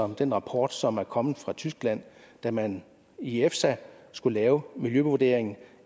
den rapport som er kommet fra tyskland da man i efsa skulle lave miljøvurderingen